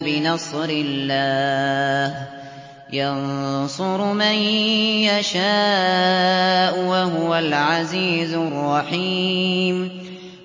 بِنَصْرِ اللَّهِ ۚ يَنصُرُ مَن يَشَاءُ ۖ وَهُوَ الْعَزِيزُ الرَّحِيمُ